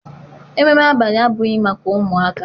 Ememme abalị abụghị maka ụmụaka.